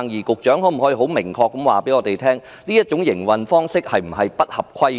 局長可否很明確地告訴我們，這種營運方式有否違規？